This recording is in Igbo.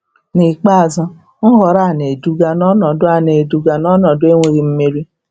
N'ikpeazụ, nhọrọ a na-eduga n'ọnọdụ a na-eduga n'ọnọdụ enweghị mmeri.